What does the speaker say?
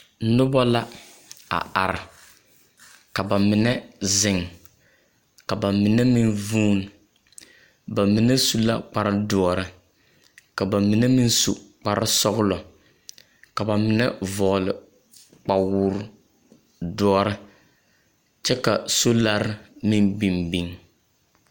Noba la a are, ka ba mine zeŋ, ka ba mine meŋ vuun, ba mine su la kpare doɔre, ka ba mine meŋ su kpare sɔglɔ, ka ba mie vɔɔle kpawodɔre, kyɛ ka soolare meŋ biŋ biŋ.